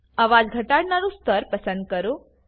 અવાજ ઘટાડાનું સ્તર પસંદ કરો